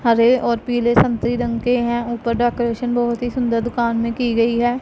हरे और पीले संतरी रंग के हैं ऊपर डेकोरेशन बहुत ही सुंदर दुकान में की गई है।